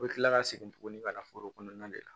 U bɛ kila ka segin tuguni ka na foro kɔnɔna de la